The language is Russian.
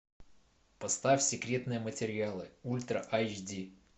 поставь секретные материалы ультра айч ди